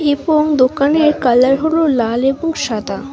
এবং দোকানের কালার হল লাল এবং সাদা।